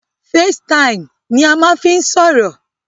Facetime ni a máa ń fí n sọ̀rọ̀.